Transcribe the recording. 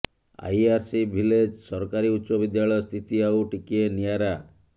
IRC village ସରକାରୀ ଉଚ୍ଚ ବିଦ୍ୟାଳୟ ସ୍ଥିତି ଆଉ ଟିକିଏ ନିଆରା